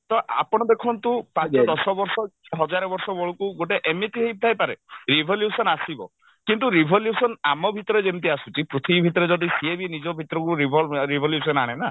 ତ ଆପଣ ଦେଖନ୍ତୁ ପାଞ୍ଚ ଦଶ ବର୍ଷ ହଜାରେ ବର୍ଷ ବେଳକୁ ଗୋଟେ ଏମିତି ହେଇଥାଇ ପାରେ revolution ଆସିବ କିନ୍ତୁ revolution ଆମ ଭିତରେ ଯେମିତି ଆସୁଛି ପୃଥିବୀ ଭିତରେ ଯଦି ସିଏ ବି ନିଜ ଭିତରକୁ revolve revolution ଆଣେ ନା